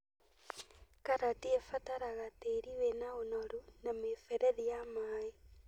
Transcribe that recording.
Karati ĩbataraga tĩĩri wĩna ũnoru na mĩberethi ya maĩ